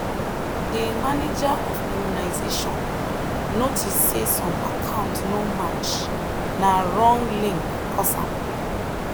de manager of immunisation notice say some account no match na wrong link cause am.